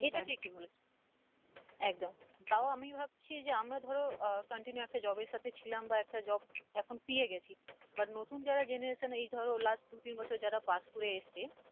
এটা ঠিকই বলেছ একদম তাও আমি ভাবছি যে আমরা ধরো আহ continue একটা job এর সাথে ছিলাম বা একটা job এখন পেয়ে গেছি but নতুন যারা generation এই ধরো last দু-তিন বছর যারা pass করে এসেছে